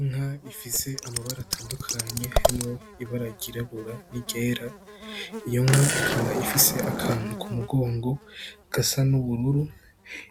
Inka ifise amabara atandukanye harimwo ibara ry'irabura, n'iryera iyo nka ikaba ifise akantu kumugongo gasa n'ubururu